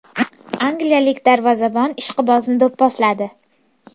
Angliyalik darvozabon ishqibozni do‘pposladi .